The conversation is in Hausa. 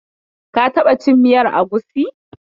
Ka taɓa cin miyar agusi?